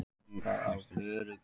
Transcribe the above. Bjartur